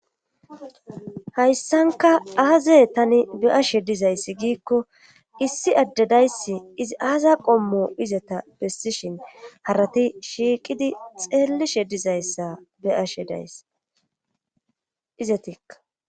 Hayssanka aaza tani be ashe dizayssi giikko issi addedayssi izi aaza qommo izeta bessishin harati shiiqidi xeellishe dizayssa beashe dayss. izetikka